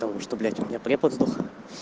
потому что блять у меня препод сдох